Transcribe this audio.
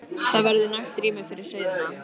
Það verður nægt rými fyrir sauðina.